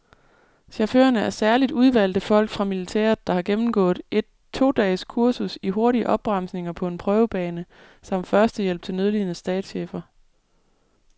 Chaufførerne er særligt udvalgte folk fra militæret, der har gennemgået et to dages kursus i hurtige opbremsninger på en prøvebane samt førstehjælp til nødlidende statschefer.